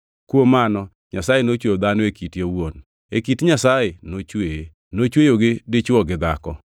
Kuom mano Nyasaye nochweyo dhano e kite owuon, e kit Nyasaye nochweye; nochweyogi dichwo gi dhako.